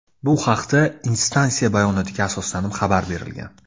Bu haqda instansiya bayonotiga asoslanib xabar berilgan.